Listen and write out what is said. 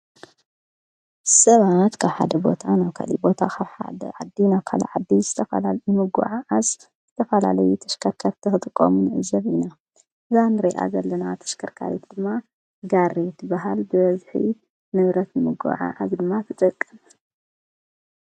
ሰባት ካብሓደ ቦታ ናብ ካሊእ ዘእዛ ካብ ሓደ ዓዲ ናብ ካሊእ ዓዲ ንዝተፈላለየ ንምጉዕዓዝ ንዝተፈላለየ ተሽከርከርቲ ዝጥቀሙ እዛ እንሪኣ ዘለና ተሽከርካሪት ድማ ጋሪ ትበሃል በ ብበዝሒ ንብረት ንምጕዕዓዝ ድማ ትጠቅም።